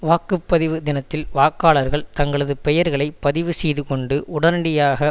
வாக்கு பதிவு தினத்தில் வாக்காளர்களை தங்களது பெயர்களை பதிவு செய்து கொண்டு உடனடியாக